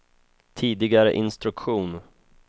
tidigare instruktion